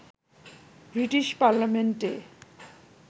British পার্লামেন্টে